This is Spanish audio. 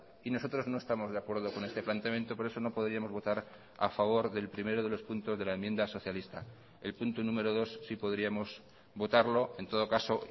y nosotros no estamos de acuerdo con este planteamiento por eso no podríamos votar a favor del primero de los puntos de la enmienda socialista el punto número dos sí podríamos votarlo en todo caso